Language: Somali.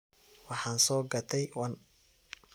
Waxan sogatey wan.